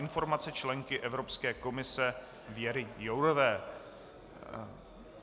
Informace členky Evropské komise Věry Jourové